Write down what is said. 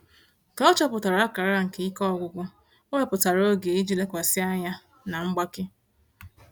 Ka ọ chọpụtara akara nke ike ọgwụgwụ, o wepụtara oge iji lekwasị anya na mgbake.